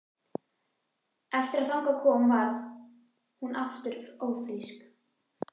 Eftir að þangað kom varð hún aftur ófrísk.